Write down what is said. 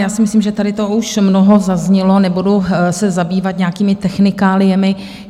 Já si myslím, že tady toho už mnoho zaznělo, nebudu se zabývat nějakými technikáliemi.